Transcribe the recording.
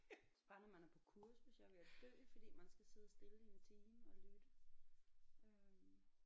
Bare når man er på kursus jeg er ved at dø fordi man skal sidde stille i en time og lytte øh